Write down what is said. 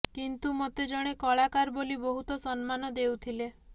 କିନ୍ତୁ ମୋତେ ଜଣେ କାଳାକାର ବୋଲି ବହୁତ ସମ୍ମାନ ଦେଉଥିଲେ